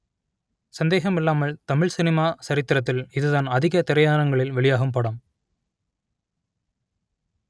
சந்தேகமில்லாமல் Tamil cinema ச‌ரித்திரத்தில் இதுதான் அதிக திரையரங்குகளில் வெளியாகும் படம்